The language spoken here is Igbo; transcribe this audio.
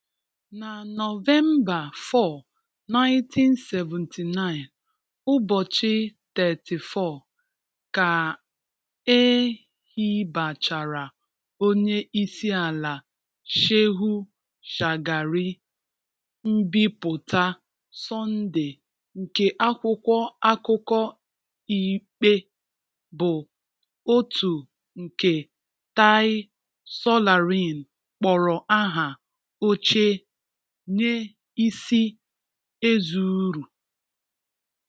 Na Nọvemba 4, 1979, ụbọchị 34, ka e hibechara Onye isi ala Shehu Shagari, mbipụta Sọnde nke akwụkwọ akụkọ ikpe bụ otu nke Tai Solarin kpọrọ aha oche onye isi ezuuru.